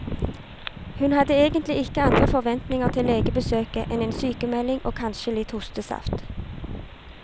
Hun hadde egentlige ikke andre forventninger til legebesøket enn en sykemelding og kanskje litt hostesaft.